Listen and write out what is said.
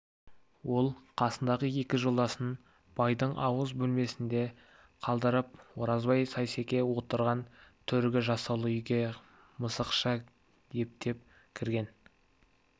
ол қасындағы екі жолдасын байдың ауыз бөлмесінде қалдырып оразбай сейсеке отырған төргі жасаулы үйге мысықша ептеп кірген